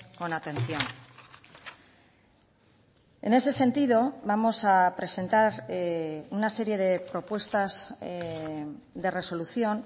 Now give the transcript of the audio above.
con atención en ese sentido vamos a presentar una serie de propuestas de resolución